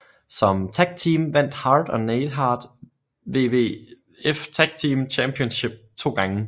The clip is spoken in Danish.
Som tagteam vandt Hart og Neidhart WWF Tag Team Championship to gange